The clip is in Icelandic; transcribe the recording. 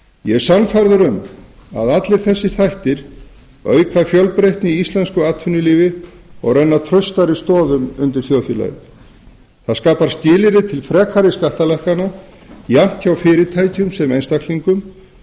ég er sannfærður um að allir þessir þættir auka fjölbreytni í íslensku atvinnulífi og renna traustari stoðum undir þjóðfélagið það skapar skilyrði til frekari skattalækkana jafnt hjá fyrirtækjum sem einstaklingum